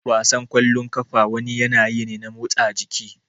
Wasan kwallon kafa wani yanayi ne na motsa jiki